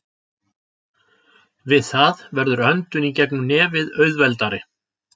Við það verður öndun í gegnum nefið auðveldari.